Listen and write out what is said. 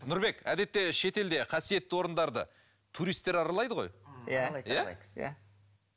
нұрбек әдетте шетелде қасиетті орындарды туристер аралайды ғой иә иә иә